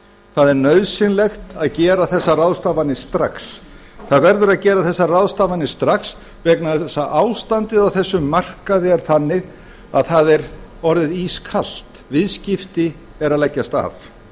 það er nauðsynlegt að gera þessar ráðstafanir strax það verður að gera þessar ráðstafanir strax vegna þess að ástandið á þessum markaði er þannig að það er orðið ískalt viðskipti eru að leggjast af